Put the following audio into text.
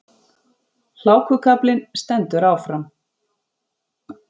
Hlákukaflinn stendur áfram